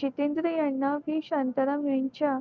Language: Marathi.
चितेंद्र याना श्री शांताराम यांच्या